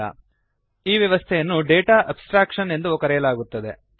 ಈ ವ್ಯವಸ್ಥೆಯನ್ನು data abstraction data abstraction ಎಂದು ಕರೆಯಲಾಗುತ್ತದೆ